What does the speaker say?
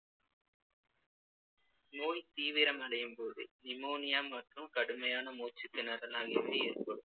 நோய் தீவிரமடையும் போது pneumonia மற்றும் கடுமையான மூச்சுத்திணறல் ஆகியவை ஏற்படும்